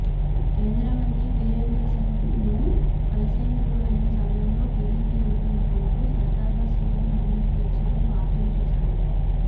కేంద్ర మంత్రి బీరేంద్రసింగ్ను కలిసేందుకు వెళ్లిన సమయంలో టీడీపీ ఎంపీలు కొందరు సరదాగా సీఎం రమేష్ దీక్షపై వ్యాఖ్యలు చేశారు